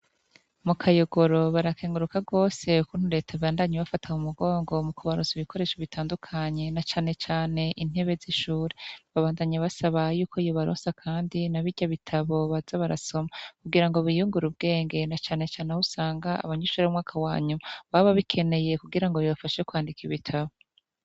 Mu kayogoro barakenguruka gose ukuntu Leta ibandanye ibafata mu mugongo mu kubaronsa ibikoresho bitandukanye na cane cane intebe z‘ishure. Babandanya basaba yuko yobaronsa kandi na birya bitabo baza barasoma kugira ngo biyungure ubwenge na cane cane ahusanga abanyeshure bo mu mwaka wa nyuma baba babikeneye kugira ngo bibafashe kwandika ibitabo.